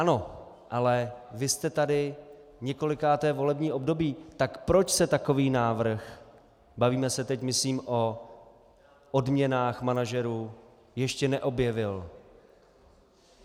Ano, ale vy jste tady několikáté volební období, tak proč se takový návrh, bavíme se teď, myslím, o odměnách manažerů, ještě neobjevil?